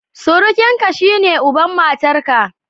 Surukinka, shine uban matarka.